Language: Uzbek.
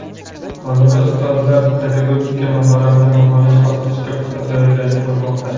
Hozirda ustozlar pedagogik mahoratni baholash bosqichiga puxta tayyorgarlik ko‘rmoqda.